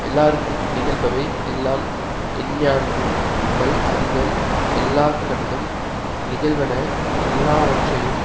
எல்லார்க்கும் நிகழ்பவை எல்லாம் எஞ்ஞான்றும் வல்அறிதல் எல்லார்கண்ணும் நிகழ்வன எல்லாவற்றையும்